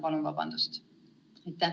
Palun vabandust!